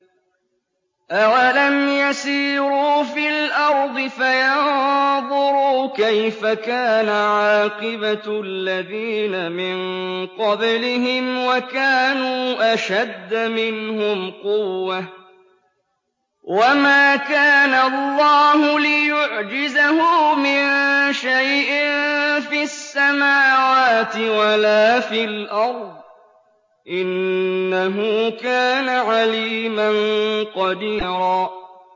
أَوَلَمْ يَسِيرُوا فِي الْأَرْضِ فَيَنظُرُوا كَيْفَ كَانَ عَاقِبَةُ الَّذِينَ مِن قَبْلِهِمْ وَكَانُوا أَشَدَّ مِنْهُمْ قُوَّةً ۚ وَمَا كَانَ اللَّهُ لِيُعْجِزَهُ مِن شَيْءٍ فِي السَّمَاوَاتِ وَلَا فِي الْأَرْضِ ۚ إِنَّهُ كَانَ عَلِيمًا قَدِيرًا